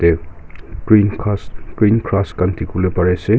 green ghas green grass khan dikhi bole pare ase.